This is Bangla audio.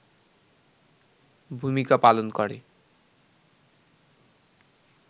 ভূমিকা পালন করে